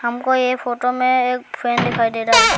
हमको यह फोटो में एक फैन दिखाई दे रहा है।